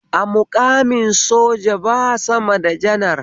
A muƙamin soja ba sama da janar